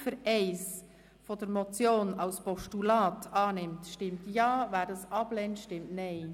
– Wer Ziffer 1 als Postulat annimmt, stimmt Ja, wer dies ablehnt, stimmt Nein.